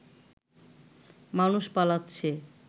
মানুষ পালাচ্ছে